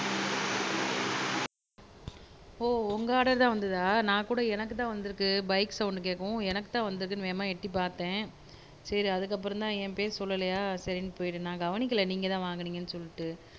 ஓ உங்க ஆர்டர் தான் வந்ததா நான் கூட எனக்கு தான் வந்திருக்கு பைக் சௌண்ட் கேக்கவும் எனக்கு தான் வந்ததுனு வேகமா எட்டி பாத்தேன் சரி அதுக்கு அப்புறம் தான் என் பேர் சொல்லலையா சரின்னு போய்ட்டேன் நான் கவனிக்கல நீங்க தான் வாங்குனீங்கனு சொல்லிட்டு